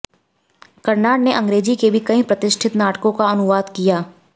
कर्नाड ने अंग्रेजी के भी कई प्रतिष्ठित नाटकों का अनुवाद किया